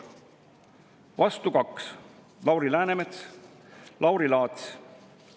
Vastu 2: Lauri Läänemets, Lauri Laats.